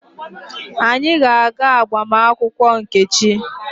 Anyị ga-aga agbamakwụkwọ Nkechi.